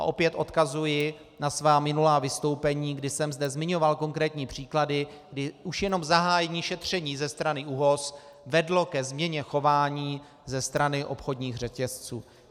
A opět odkazuji na svá minulá vystoupení, kdy jsem zde zmiňoval konkrétní příklady, kdy už jenom zahájení šetření ze strany ÚOHS vedlo ke změně chování ze strany obchodních řetězců.